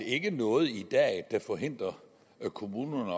ikke er noget i dag der forhindrer kommunerne